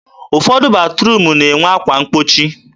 ụfọdụ batruum na-enwe akwa mgbochi.